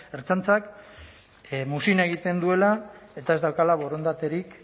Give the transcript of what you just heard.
ertzaintzak muzin egiten duela eta ez daukala borondaterik